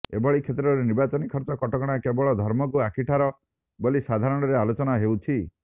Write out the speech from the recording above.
ଏଭଳି କ୍ଷେତ୍ରରେ ନିର୍ବାଚନୀ ଖର୍ଚ୍ଚ କଟକଣା କେବଳ ଧର୍ମକୁ ଆଖି ଠାର ବୋଲି ସାଧାରଣରେ ଆଲୋଚନା ହେଉଛି